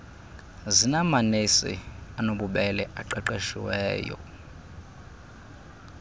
zinamanesi anobubele aqeqesiweyo